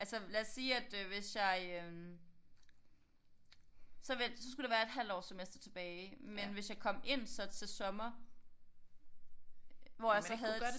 Altså lad os sige at øh hvis jeg øh så vent så skulle der være et halvt års semester tilbage men hvis jeg kom ind så til sommer hvor jeg så havde et